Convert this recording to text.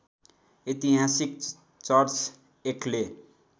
ऐतिहासिक चर्च ऐक्टले